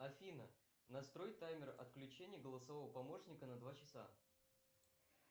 афина настрой таймер отключения голосового помощника на два часа